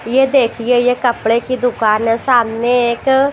ये देखिए ये कपड़े की दुकान है सामने एक--